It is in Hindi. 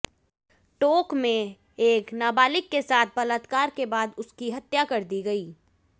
टोंक में एक नाबालिग के साथ बलात्कार के बाद उसकी हत्या कर दी गई